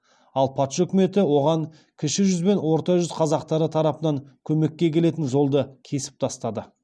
ал патша үкіметі оған кіші жүз бен орта жүз қазақтары тарапынан көмекке келетін жолды кесіп тастады